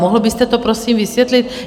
Mohl byste to prosím vysvětlit?